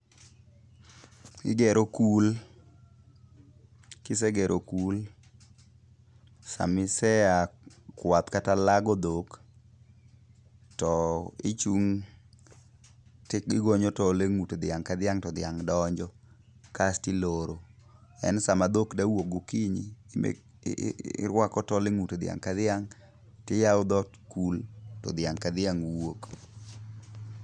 Igero kul . Kisegero kul, sama iseya kuath kata lago dhok, to ichung' tigonyo tol e ng'ut dhiang' ka dhiang' to dhiang' donjo. Kasto iloro. Then sama dhok dawuok gokinyi, irwako tol e ng'ut dhiang' ka dhiang',tiyawo dhod kul, to dhiang' ka dhiang' wuok.